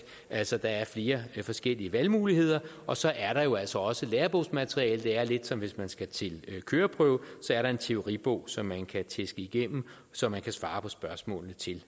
altså der er flere forskellige valgmuligheder og så er der jo altså også lærebogsmateriale det er lidt som hvis man skal til køreprøve så er der en teoribog som man kan tæske igennem så man kan svare på spørgsmålene til